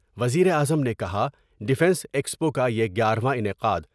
وزیر اعظم نے کہا ڈفینس ایکسپو کا یہ گیارہ انعقاد۔